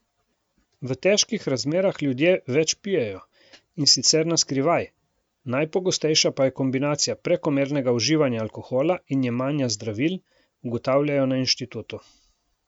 V težkih razmerah ljudje več pijejo, in sicer na skrivaj, najpogostejša pa je kombinacija prekomernega uživanja alkohola in jemanja zdravil, ugotavljajo na inštitutu.